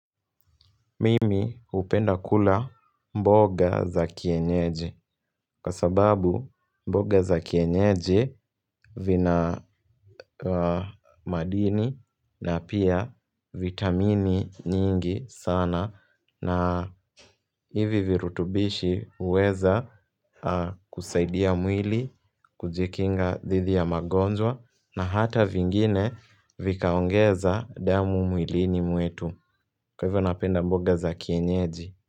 Mimi hupenda kula mboga za kienyeji kwa sababu mboga za kienyeji vina madini na pia vitamini nyingi sana na hivi virutubishi huweza kusaidia mwili kujikinga dhidhi ya magonjwa na hata vingine vikaongeza damu mwilini mwetu kwa hivyo napenda mboga za kienyeji.